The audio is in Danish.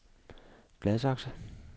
Gladsaxe